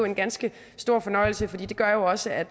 en ganske stor fornøjelse for det gør jo også at